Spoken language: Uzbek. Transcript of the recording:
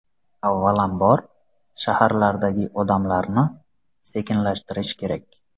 Avvalam bor, shaharlardagi odamlarni sekinlashtirish kerak.